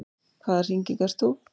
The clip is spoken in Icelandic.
Hvaða hringing ert þú?